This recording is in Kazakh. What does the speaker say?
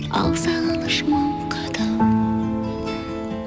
ал сағыныш мың қадам